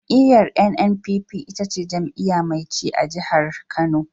Jam'iyyar NNPP ita ce jam'iyya mai ci a jihar Kano.